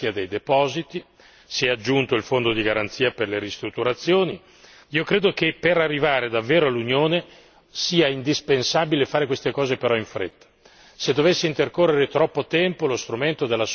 Ci sono cose che devono essere fatte, s'è detto la garanzia dei depositi, si è aggiunto il fondo di garanzia per le ristrutturazioni, io credo che per arrivare davvero all'unione sia indispensabile fare queste cose, però in fretta.